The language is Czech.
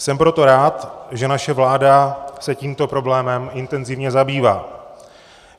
Jsem proto rád, že naše vláda se tímto problémem intenzivně zabývá.